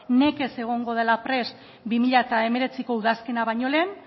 nekez egongo dela prest bi mila hemeretziko udazkena baino lehen